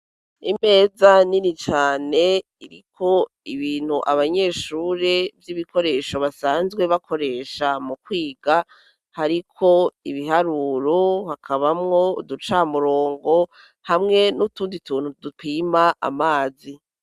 Imeza nini cane iriko ibintu vy'ibikoresho abanyeshure basanzwe bakoresha mu kwiga, hariko ibiharuro, hakabamwo uducamurongo hamwe n'utundi tuntu dupima amazi.